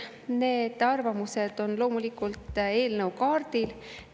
Need arvamused on loomulikult eelnõu kaardil.